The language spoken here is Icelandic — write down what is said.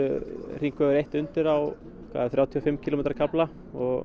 hringvegur eins er undir á þrjátíu og fimm kílómetra kafla og